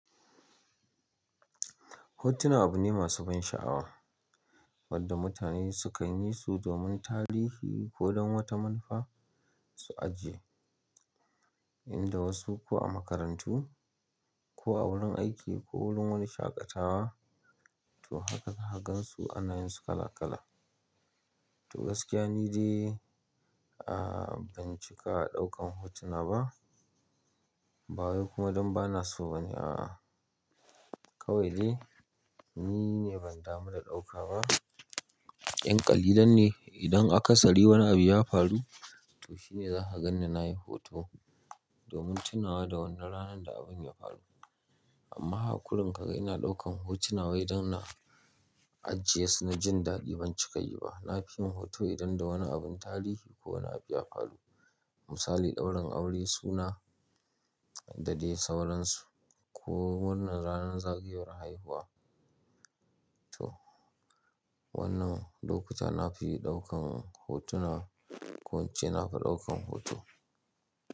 Hotuna abu ne masu ban sha'awa wadda mutane sukan yi su domin tarihi ko don wata manufa su ajiye, inda wasu ko a makarantu ko a wurin aiki ko wurin wani shaƙatawa. To haka ka zaka gansu ana yin su kala kala. To gaskiya ni dai, ah ban cika a ɗaukan hotuna ba. Bayan kuma don bana so bane a a. Kawai dai ni ne ban damu da ɗauka ba. Yanƙali lan ne idan aka sari wani abu ya faru, to shine za ka gan ni nayi hoto domin tunawa da wannan ranar da abun ya faru. Amma hakakurin ka ga ina ɗaukan hotuna wai don na ajiye su na jin daɗi ban cika yi ba. Na fi yin hoto idan da wani abun tarihi ko wani abu ya faru. Misali ɗaurin aure suna da dai sauransu ko murnar ranar zagayowar haihuwa. To wannan lokuta na fi ɗaukan hotuna ko ince na fi ɗaukan hoto.